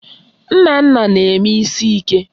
Nnanna na-eme isi ike